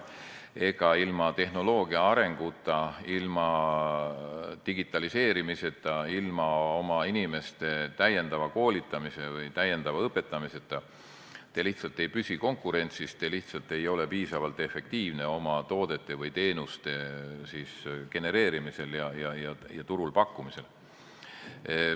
Ega ilma tehnoloogia arenguta, ilma digitaliseerimiseta, ilma oma inimeste täiendava koolitamise või õpetamiseta lihtsalt ei püsi konkurentsis, te lihtsalt ei ole piisavalt efektiivne toodete või teenuste genereerimisel ja turul pakkumisel.